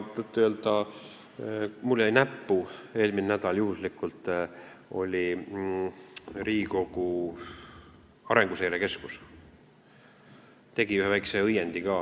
Tõtt-öelda jäi mulle eelmisel nädalal juhuslikult näppu, et Riigikogu Arenguseire Keskus tegi ühe väikese õiendi.